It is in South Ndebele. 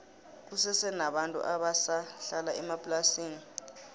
kusese nabantu abasa hlala emaplasini